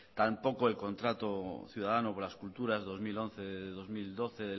tampoco el contrato ciudadano por las culturas dos mil once dos mil doce